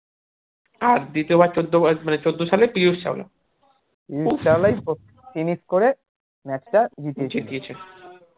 দ্বিতীয় বার চোদ্দ মানে চোদ্দশালে পীযুষ চাওলা finish করে match টা